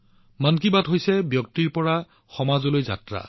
মন কী বাত হৈছে নিজৰ পৰা সমূহলৈ যাত্ৰা